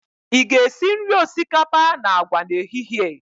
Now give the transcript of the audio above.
Ị ga-esi nri osikapa na agwa n'ehihie?